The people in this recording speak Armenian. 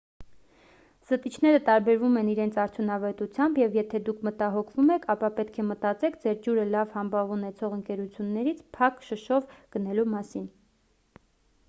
զտիչները տարբերվում են իրենց արդյունավետությամբ և եթե դուք մտահոգվում եք ապա պետք է մտածեք ձեր ջուրը լավ համբավ ունեցող ընկերությունից փակ շշով գնելու մասին